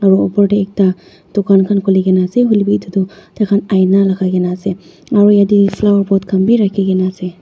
aro opor dae ekta dukhan khan khulikena ase hoilebi etu toh thaikhan aina lagai kena ase aro yeteh flower pot khan bhi rakhikena ase.